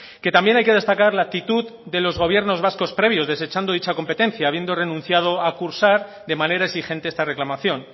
que también hay que destacar la actitud de los gobiernos vascos previos desechando dicha competencia habiendo renunciado a cursar de manera exigente esta reclamación